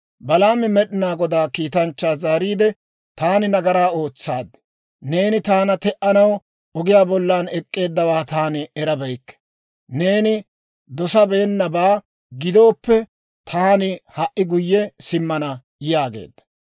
Balaami Med'inaa Godaa kiitanchchaa zaariide, «Taani nagaraa ootsaad. Neeni taana te"anaw ogiyaa bollan ek'k'eeddawaa taani erabeykke. Neeni dosabeennabaa gidooppe, taani ha"i guyye simmana» yaageedda.